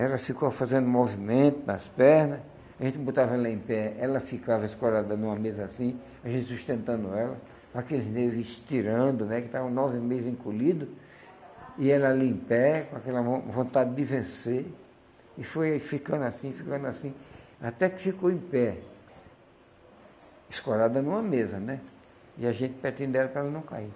Ela ficou fazendo movimento nas perna, a gente botava ela em pé, ela ficava escorada numa mesa assim, a gente sustentando ela, aqueles nervo estirando, né, que estavam nove meses encolhido, e ela ali em pé, com aquela von vontade de vencer, e foi ficando assim, ficando assim, até que ficou em pé, escorada numa mesa, né, e a gente pertinho dela para ela não cair.